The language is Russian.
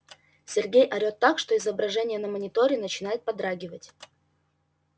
сергей орет так что изображение на мониторе начинает подрагивать